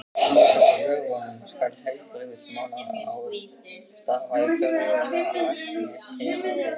Samkvæmt lögunum skal heilbrigðismálaráð starfa í hverju læknishéraði.